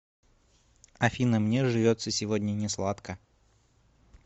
афина мне живется сегодня не сладко